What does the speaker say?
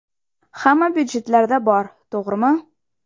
Hamma byudjetlarda bor, to‘g‘rimi?